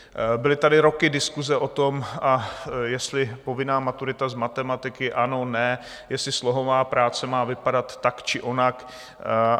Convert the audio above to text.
Byly tady roky diskuse o tom, jestli povinná maturita z matematiky ano, ne, jestli slohová práce má vypadat tak, či onak.